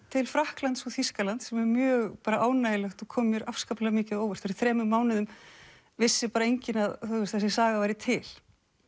til Frakklands og Þýskalands sem er mjög ánægjulegt og kom mér afskaplega mikið á óvart fyrir þremur mánuðum vissi enginn að þessi saga væri til